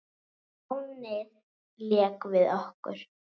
Lánið lék við okkur.